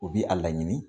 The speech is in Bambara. U bi a laɲini